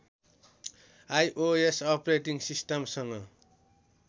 iOS operating सिस्टमसँग